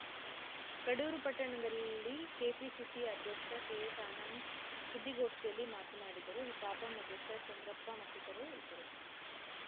ಕಡೂರು ಪಟ್ಟಣದಲ್ಲಿ ಕೆಪಿಸಿಸಿ ಅಧ್ಯಕ್ಷ ಕೆಎಸ್‌ ಆನಂದ್‌ ಸುದ್ದಿಗೋಷ್ಟಿಯಲ್ಲಿ ಮಾತನಾಡಿದರು ತಾಪಂ ಅಧ್ಯಕ್ಷ ಚಂದ್ರಪ್ಪ ಮತ್ತಿತರರು ಇದ್ದರು